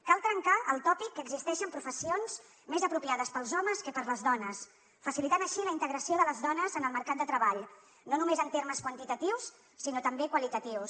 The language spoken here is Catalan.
cal trencar el tòpic que existeixen professions més apropiades per als homes que per a les dones i facilitar així la integració de les dones en el mercat de treball no només en termes quantitatius sinó també qualitatius